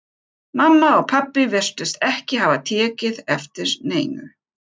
Mamma og pabbi virtust ekki hafa tekið eftir neinu.